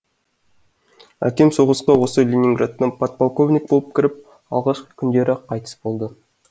әкем соғысқа осы ленинградтан подполковник болып кіріп алғашқы күндері ақ қайтыс болды